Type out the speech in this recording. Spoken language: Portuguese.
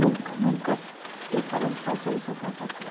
Nunca, nunca fi fiquei falando faça isso ou faça aquilo.